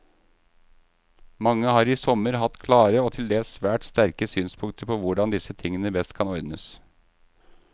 Mange har i sommer hatt klare og til dels svært sterke synspunkter på hvordan disse tingene best kan ordnes.